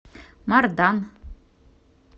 мардан